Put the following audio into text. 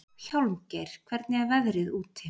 Hjálmgeir, hvernig er veðrið úti?